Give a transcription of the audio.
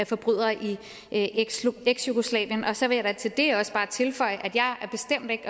forbrydere i eksjugoslavien og så vil jeg da til det også bare tilføje at jeg